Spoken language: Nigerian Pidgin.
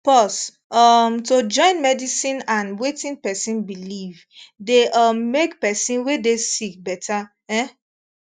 pause um to join medicine and wetin pesin believe dey um make pesin wey dey sick better um